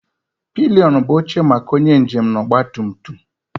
Pilion bụ oche maka onye njem na ọgba tum tum